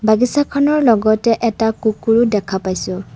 বাগিচাখনৰ লগতে এটা কুকুৰো দেখা পাইছোঁ।